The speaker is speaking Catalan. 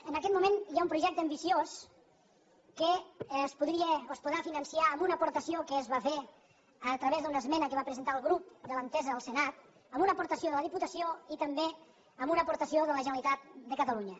en aquest moment hi ha un projecte ambiciós que es podria o es podrà finançar amb una aportació que es va fer a través d’una esmena que va presentar el grup de l’entesa al senat amb una aportació de la diputació i també amb una aportació de la generalitat de catalunya